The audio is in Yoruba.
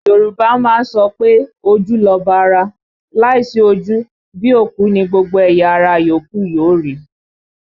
Yorùbá a máa sọ pé ojú lọba ara, láìsí ojú, bí òkú ni gbogbo ẹ̀yà ara yòókù yóò rí